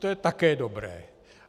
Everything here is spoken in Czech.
To je také dobré.